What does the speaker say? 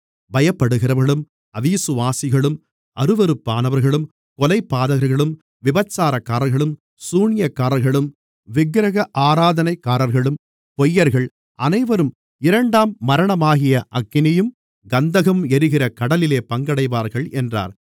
பயப்படுகிறவர்களும் அவிசுவாசிகளும் அருவருப்பானவர்களும் கொலைபாதகர்களும் விபசாரக்காரர்களும் சூனியக்காரர்களும் விக்கிரக ஆராதனைக்காரர்களும் பொய்யர்கள் அனைவரும் இரண்டாம் மரணமாகிய அக்கினியும் கந்தகமும் எரிகிற கடலிலே பங்கடைவார்கள் என்றார்